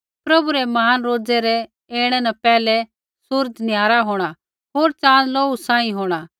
प्रभु रै महान रोज़ै रै ऐणै न पैहलै सूरज़ निहारा होंणा होर चाँद लोहू सांही होंणा